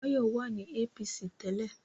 Báyọ̀ wà ní APC tẹ́lẹ̀